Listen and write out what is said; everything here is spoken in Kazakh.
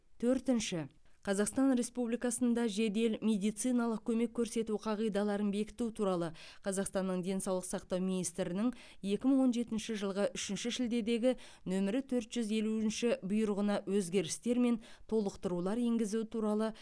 төртінші қазақстан республикасында жедел медициналық көмек көрсету қағидаларын бекіту туралы қазақстанның денсаулық сақтау министрінің екі мың он жетінші жылғы үшінші шілдедегі нөмірі төрт жүз елуінші бұйрығына өзгерістер мен толықтырулар енгізу туралы